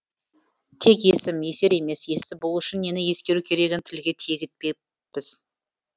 тек есім есер емес есті болу үшін нені ескеру керегін тілге тиек етпеппіз